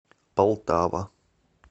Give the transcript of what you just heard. полтава